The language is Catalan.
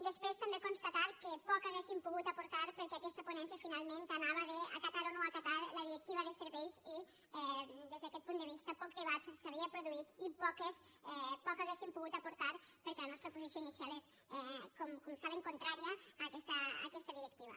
després també constatar que poc hi hauríem pogut aportar perquè aquesta ponència anava finalment d’acatar o no acatar la directiva de serveis i des d’aquest punt de vista poc debat s’havia produït i poc hauríem pogut aportar hi perquè la nostra posició inicial és com saben contrària a aquesta directiva